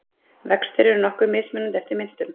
Vextir eru nokkuð mismunandi eftir myntum.